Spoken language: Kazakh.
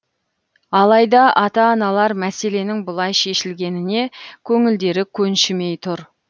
алайда ата аналар мәселенің бұлай шешілгеніне көңілдері көншімей тұр